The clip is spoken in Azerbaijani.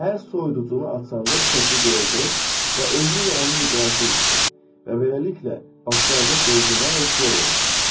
Hər soyuducunu açanda bu şəkli görəcək və özü ilə onu müqayisə edəcək və beləliklə başlayacaq rejimə və kilo verəcək.